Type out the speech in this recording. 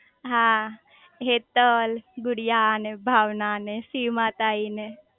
હા હેતલ ગુડિયા ને ભાવના ને સીમા તાઈ ને